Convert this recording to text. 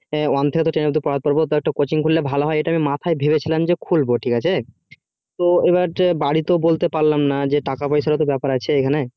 one থেকে ten পর্যন্ত পড়াতে পারবো একটা coaching খুললে ভালো হয় এটা আমি মাথায় ভেবেছিলাম যে খুলবো ঠিক আছে তো এবার বাড়িতে বলতে পারলাম না যে টাকা পয়সার তো ব্যাপার আছে এখানে